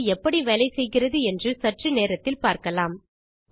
அது எப்படி வேலை செய்கிறது என்று சற்று நேரத்தில் பார்க்கலாம்